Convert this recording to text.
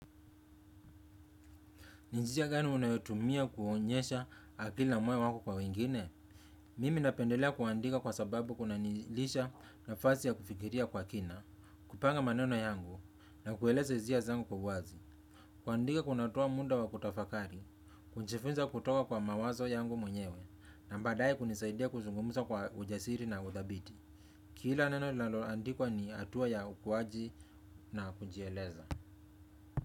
Ni njia gani unayotumia kuonyesha akila ambayo wako kwa wengine? Mimi napendelea kuandika kwa sababu kunanilisha nafasi ya kufikiria kwa kina, kupanga maneno yangu na kueleze hisia zangu kwa wazi. Kuandika kunatoa muda wa kutafakari, kujifunza kutoka kwa mawazo yangu mwenyewe, na baadae kunisaidia kuzungumuza kwa ujasiri na uthabiti. Kila neno linaloandikwa ni hatua ya ukuwaji na kujieleza.